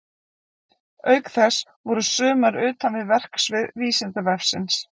Auk þess voru sumar utan við verksvið Vísindavefsins.